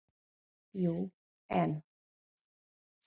Jú, en.